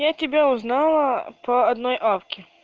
я тебя узнала по одной авке